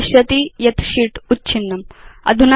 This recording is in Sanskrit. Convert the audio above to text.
भवान् पश्यति यत् शीत् उच्छिन्नम्